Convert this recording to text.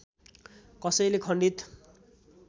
कसैले खण्डित